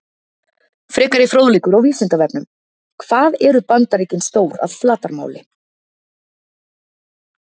Frekari fróðleikur á Vísindavefnum: Hvað eru Bandaríkin stór að flatarmáli?